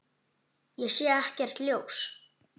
Ég sé ekkert ljós.